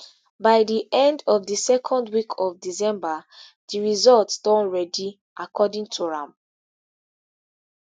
by di end of di second week of december di results don ready according to am